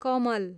कमल